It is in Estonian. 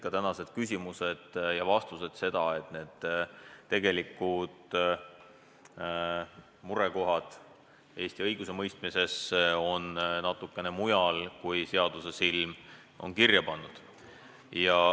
Ka tänased küsimused ja vastused näitasid seda, et tegelikud murekohad Eesti õigusemõistmises on natukene mujal, kui seadusesilm on kirja pannud.